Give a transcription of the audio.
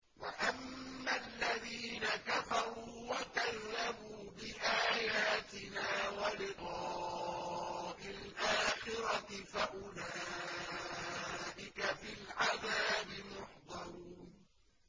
وَأَمَّا الَّذِينَ كَفَرُوا وَكَذَّبُوا بِآيَاتِنَا وَلِقَاءِ الْآخِرَةِ فَأُولَٰئِكَ فِي الْعَذَابِ مُحْضَرُونَ